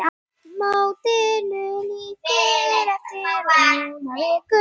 Mótinu lýkur eftir rúma viku.